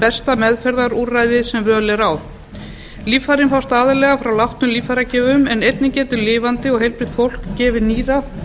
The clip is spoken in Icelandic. besta meðferðarúrræðið sem völ er á líffærin fást aðallega frá látnum líffæragjöfum en einnig getur lifandi og heilbrigt fólk gefið nýra